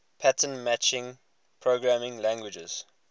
pattern matching programming languages